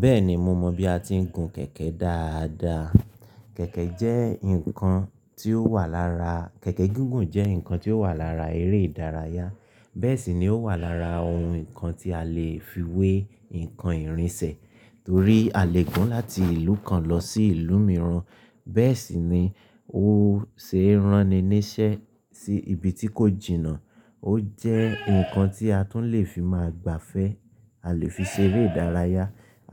Bẹ́ẹ̀ni, mo mọ̀ bí a ti ń gun kẹ̀kẹ́ dáadáa. Kẹ̀kẹ́ jẹ́ nǹkan tí ó wà lára, kẹ̀kẹ́ gígùn jẹ́ nǹkan tí ó wà lára eré ìdárayá. Bẹ́ẹ̀ sì ni ó wà lára ohun nǹkan tí a lè fi wé nǹkan ìrìnsẹ̀, torí a lè gùn láti ìlú kan lọ sí ìlú mìíràn. Bẹ́ẹ̀ sì ni ó ṣeé ránni níṣẹ́ sí ibi tí kò jìnnà. Ó jẹ́ nǹkan tí a tún lè fi máa gbafẹ́. A lè fi ṣe eré ìdárayá.